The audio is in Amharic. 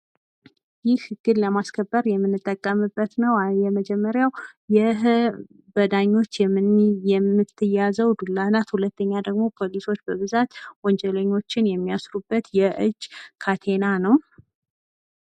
ይህ ህግን ለማስከበር የምንጠቀምበት ነው። የመጀመሪያው በዳኞች የምትያዘው ዱላ ናት። ሁለተኛው ደግሞ ፖሊሶች በብዛት ወንጀለኞችን የሚይስሩበትየእጅ ካቴና ነው።